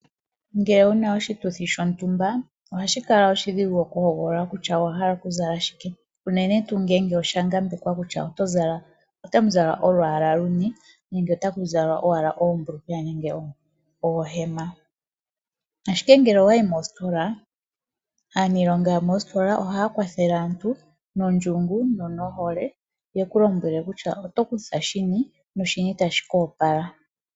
Ngele wuna oshituthi shontumba ohashika kala oshidhigu okuhogolola kutya owahala okuzala shike unene tuu ngele oshangambekwa kutya nena otamuzala olwaala luni nenge nenge otakuzalwa owala oombulukweya nenge oohema. Ashike ngele owayi moositola aaniilonga yo moositola ohaya kwathele aantu nondjungu nonohole yeku lombwele kutya otokutha shini noshini tashi ku opala.